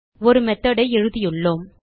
ஒரு மெத்தோட் ஐ எழுதியுள்ளோம்